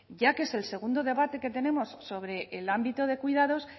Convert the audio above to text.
ya que es el segundo debate que tenemos sobre el ámbito de cuidados